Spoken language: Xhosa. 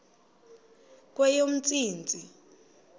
kweyomntsintsi